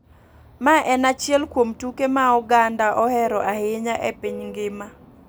Mae en achiel kuom tuke ma oganda ohero ahinya e piny ngima